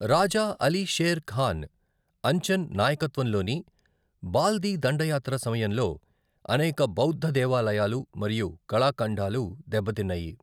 రాజా అలీ షేర్ ఖాన్ అంచన్ నాయకత్వంలోని బాల్టి దండయాత్ర సమయంలో అనేక బౌద్ధ దేవాలయాలు మరియు కళాఖండాలు దెబ్బతిన్నాయి.